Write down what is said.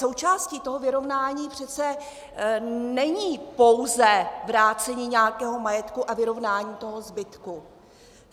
Součástí toho vyrovnání přece není pouze vrácení nějakého majetku a vyrovnání toho zbytku.